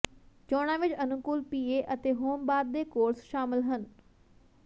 ਚੋਣਾਂ ਵਿੱਚ ਅਨੁਕੂਲ ਪੀਏ ਅਤੇ ਹੋਮਬਾਅਦ ਦੇ ਕੋਰਸ ਸ਼ਾਮਲ ਹਨ